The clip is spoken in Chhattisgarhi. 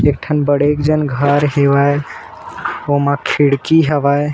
एक ठन बड़े जन घर हेवय ओमा खिड़की हवय।